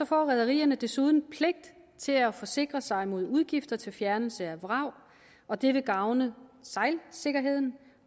får rederierne desuden pligt til at forsikre sig mod udgifter til fjernelse af vrag og det vil gavne sejladssikkerheden